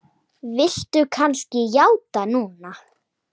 Viltu kannski játa núna?